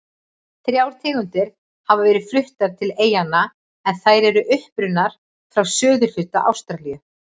Þrjár tegundir hafa verið fluttar til eyjanna en þær eru upprunnar frá suðurhluta Ástralíu.